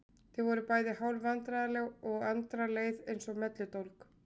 Þau voru bæði hálf vandræðaleg og Andra leið eins og melludólg.